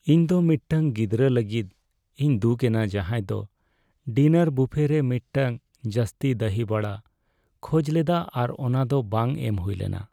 ᱤᱧ ᱫᱚ ᱢᱤᱫᱴᱟᱝ ᱜᱤᱫᱽᱨᱟᱹ ᱞᱟᱹᱜᱤᱫ ᱤᱧ ᱫᱩᱠ ᱮᱱᱟ ᱡᱟᱦᱟᱸᱭ ᱫᱚ ᱰᱤᱱᱟᱨ ᱵᱩᱯᱷᱮ ᱨᱮ ᱢᱤᱫᱴᱟᱝ ᱡᱟᱹᱥᱛᱤ ᱫᱟᱦᱤ ᱵᱷᱟᱲᱟ ᱠᱷᱚᱡ ᱞᱮᱫᱟ ᱟᱨ ᱚᱱᱟ ᱫᱚ ᱵᱟᱝ ᱮᱢ ᱦᱩᱭ ᱞᱮᱱᱟ ᱾